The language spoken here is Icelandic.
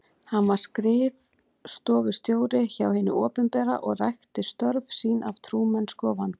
Hann var skrif- stofustjóri hjá hinu opinbera og rækti störf sín af trúmennsku og vandvirkni.